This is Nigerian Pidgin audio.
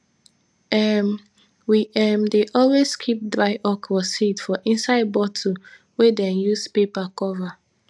um we um dey always keep dry okra seed for inside bottle wey dem use paper cover